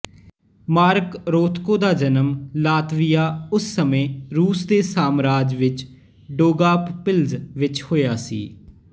mark Rothko ਦਾ ਜਨਮ Latvia ਉਸ ਸਮੇਂ ਰੂਸ ਦੇ ਸਾਮਰਾਜ ਵਿੱਚ ਡੌਗਾਵਪਿਲਜ਼ ਵਿੱਚ ਹੋਇਆ ਸੀ